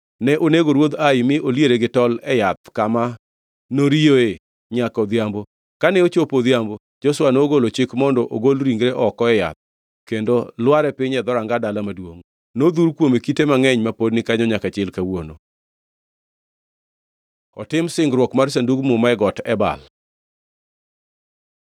Ne onego ruodh Ai mi oliere gi tol e yath kama noriyoe nyaka odhiambo. Kane ochopo odhiambo, Joshua nogolo chik mondo ogol ringre oko e yath kendo lware piny e dhoranga dala maduongʼ. Nodhur kuome kite mangʼeny ma pod ni kanyo nyaka chil kawuono. Otim singruok mar Sandug Muma e Got Ebal